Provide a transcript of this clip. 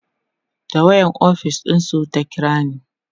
da wayan ofis ɗinsu ta kirani